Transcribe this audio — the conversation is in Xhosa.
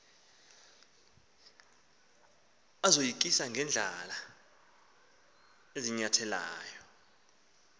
azoyikise ngendlala eziyinyathelayo